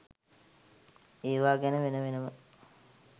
ඒවා ගැන වෙන වෙනම